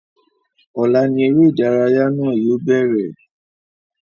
Ọ̀la ní eré ìdárayá náà yóò bẹ̀rẹ̀